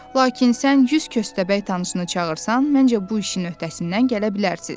Lakin sən 100 köstəbək tanışını çağırsan, məncə, bu işin öhdəsindən gələ bilərsiniz.